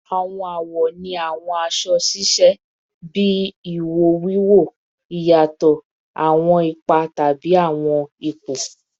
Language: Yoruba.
Awọn awọ ni awọn aṣọ-aṣọ ṣiṣẹ bi iwo wiwo, iyatọ awọn ipa tabi awọn ipo